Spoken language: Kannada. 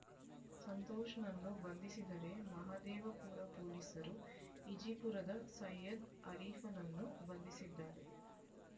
ಸಂತೋಷ್‌ನನ್ನು ಬಂಧಿಸಿದರೆ ಮಹದೇವಪುರ ಪೊಲೀಸರು ಈಜಿಪುರದ ಸೈಯದ್ ಆರೀಫ್‌ನನ್ನು ಬಂಧಿಸಿದ್ದಾರೆ